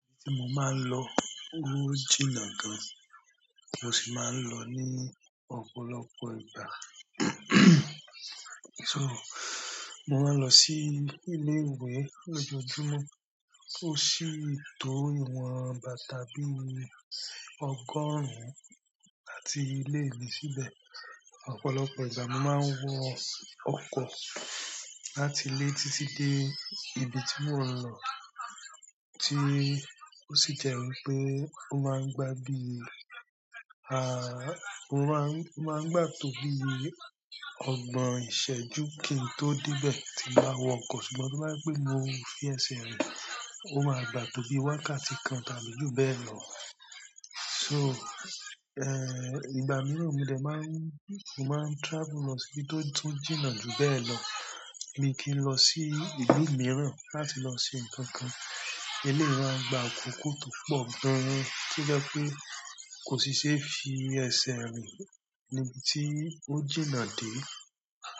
Mo máa ń lò o jìnnà gan, mo sì máa ń lọ ní ọ̀pọ̀lọpọ̀ ìgbà to mo máa ń lọ sí ilé ìwé lójoojúmọ́, ó sì tó ìwọ̀n bàtà bí ọgọ́rùn àti ilé mi síbẹ̀. Ọ̀pọ̀lọpọ̀ ìgbà mo máa ń wo ọkọ̀ láti ilé títí dé ibi tí mo ń lọ, tí o sì jẹ́ wípé ó máa ń gba bí, ó máa n--o maan gba tó bí ọgbọ̀n ìṣẹ́jú kí n tó dé ibẹ̀ tí n bà wọkọ̀, ṣùgbọ́n tó bá jẹ́ pé mo fi ẹsẹ̀ rìn, ó máa gbà tó bí wákàtí kan tàbí jù bẹ́ẹ̀ lọ. Sọ, ìgbà mìíràn, mo de máa ń, mo máa ń travel lọ sí ibi to--to jìnnà jù bẹ́ẹ̀ lọ mi kì n lọ sí ìlú mìíràn láti lọ ṣe nǹkan kan, eléyi mò ń gba àkókò tó pọ̀ gan-an, tó jẹ́ pé kò sì ṣe fi ẹsẹ̀ rìn níbi tí ó jìnnà dé.